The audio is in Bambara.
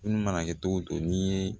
Munnu mana kɛ cogo o cogo n'i ye